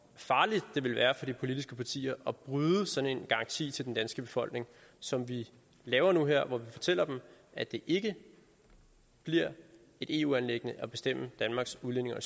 farligt det ville være for de politiske partier at bryde sådan en garanti til den danske befolkning som vi laver nu her hvor vi fortæller dem at det ikke bliver et eu anliggende at bestemme danmarks udlændinge og